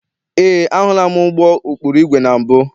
Eé, ahụla m ụgbọ ụkpụrụ igwe na mbụ.